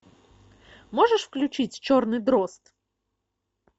можешь включить черный дрозд